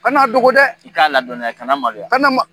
Kan'a dogo dɛ' ika ladɔnniya kana maloya kana ma